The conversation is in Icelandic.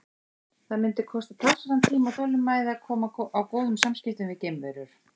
Það mundi kosta talsverðan tíma og þolinmæði að koma á góðum samskiptum við geimverur.